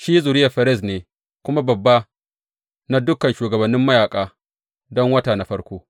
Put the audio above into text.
Shi zuriyar Ferez ne kuma babba na dukan shugabannin mayaƙa don wata na farko.